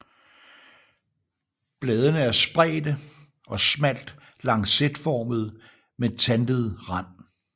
Bladene er spredte og smalt lancetformede med tandet rand